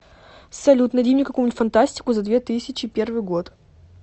салют найди мне какую нибудь фантастику за две тысячи первый год